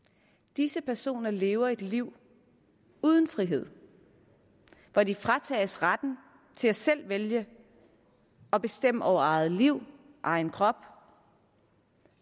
disse personer lever et liv uden frihed hvor de fratages retten til selv at vælge og bestemme over eget liv egen krop